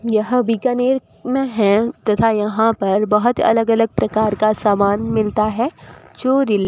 यह बीकानेर में है तथा यहां पर बहुत अलग अलग प्रकार का सामान मिलता है जो रि--